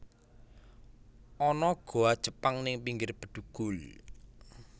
Ana goa Jepang ning pinggir Bedugul